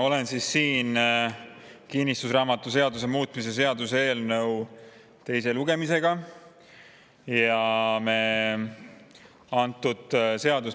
Oleme kinnistusraamatuseaduse muutmise seaduse eelnõu teisel lugemisel.